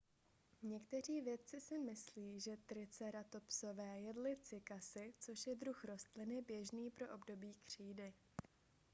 někteří vědci si myslí že triceratopsové jedli cykasy což je druh rostliny běžný pro období křídy